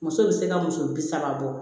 Muso bɛ se ka muso bi saba bɔ